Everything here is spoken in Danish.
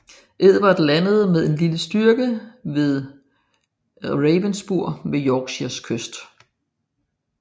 Edvard landede med en lille styrke vedRavenspur på Yorkshires kyst